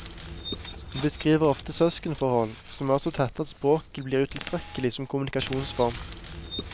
Hun beskriver ofte søskenforhold som er så tette at språket blir utilstrekkelig som kommunikasjonsform.